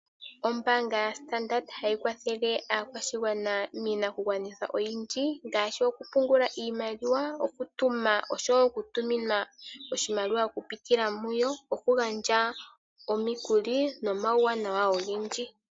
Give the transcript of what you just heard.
Ombanga ya Standard ohayi kwathele akwashingwana minakungwanithwa oyindji ngashi okupungula iimaliwa, okutuna osho okutuminwa oshimaliwa oku pitila muyo, okugandja omikuli nomawuwanawa ogendji.